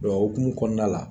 Dɔ o hokumu kɔɔna la